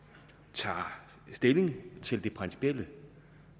tager stilling til det principielle